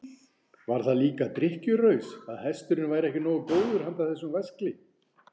Var það líka drykkjuraus að hesturinn væri ekki nógu góður handa þessum væskli?